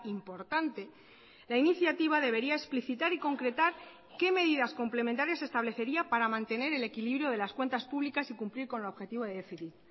importante la iniciativa debería explicitar y concretar qué medidas complementarias establecería para mantener el equilibrio de las cuentas públicas y cumplir con el objetivo de déficit